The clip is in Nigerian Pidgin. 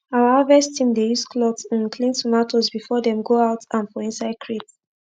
our after harvest team dey use cloth um clean tomatoes before dem go out am for inside crate